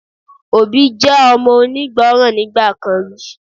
Obi je omo onigboran nigba kan ri